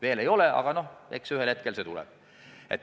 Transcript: Veel see aeg käes ei ole, aga eks ühel hetkel see tuleb.